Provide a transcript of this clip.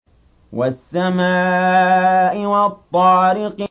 وَالسَّمَاءِ وَالطَّارِقِ